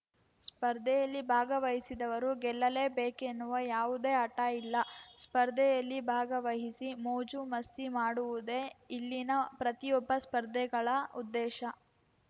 ಸ್ಪರ್ಧೆಯಲ್ಲಿ ಭಾಗವಹಿಸಿದವರು ಗೆಲ್ಲಲೇ ಬೇಕೆನ್ನುವ ಯಾವುದೇ ಹಠ ಇಲ್ಲ ಸ್ಪರ್ಧೆಯಲ್ಲಿ ಭಾಗವಹಿಸಿ ಮೋಜು ಮಸ್ತಿ ಮಾಡುವುದೇ ಇಲ್ಲಿನ ಪ್ರತಿಯೊಬ್ಬ ಸ್ಪರ್ಧೆಗಳ ಉದ್ದೇಶ